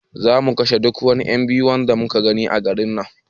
Za mu kashe duk wani ;yan biyu da muka gani a garin nan